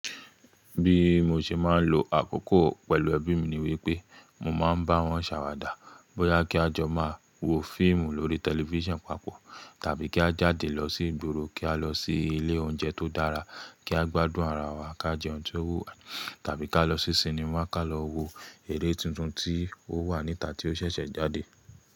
Bí mo ṣe máa ń lo àkókò pẹ̀lú ẹbí mi ni wípé mo máa ń bá wọn ṣàwàdà bóyá kí a jọ máa wo fíìmù lórí tẹlifísàn papọ̀, tàbí kí a jáde lọ sí ìgboro kí a lọ sí ilé oúnjẹ tó dára kí a gbádùn ara wa ká jẹ oun tó wúwa, tàbí kí a lọ sí sinimá ká lọ wo eré tuntun tí ó wà níta tí ó ṣẹ̀ṣẹ̀ jáde.